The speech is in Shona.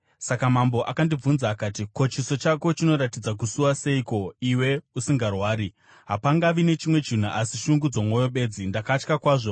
Saka mambo akandibvunza akati, “Ko, chiso chako chinoratidza kusuwa seiko iwe usingarwari? Hapangavi nechimwe chinhu asi shungu dzomwoyo bedzi.” Ndakatya kwazvo,